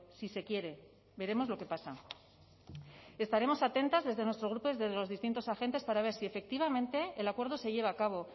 si se quiere veremos lo que pasa estaremos atentas desde nuestro grupo desde los distintos agentes para ver si efectivamente el acuerdo se lleva a cabo